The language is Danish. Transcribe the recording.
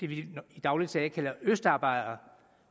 vi i daglig tale kalder østarbejdere